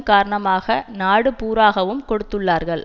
காரணமாக நாடு பூராகவும் கொடுத்துள்ளார்கள்